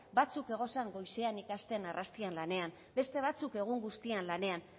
batzuk goizean ikasten eta arrastian lanean beste batzuk egun guztian